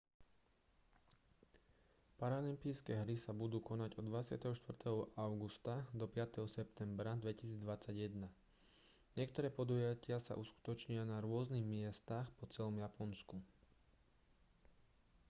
paralympijské hry sa budú konať od 24. augusta do 5. septembra 2021. niektoré podujatia sa uskutočnia na rôznych miestach po celom japonsku